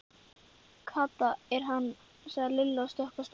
Kata er hann! sagði Lilla og stökk af stað.